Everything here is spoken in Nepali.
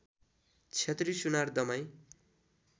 क्षेत्री सुनार दमाईँ